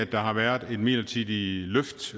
der har været et midlertidigt løft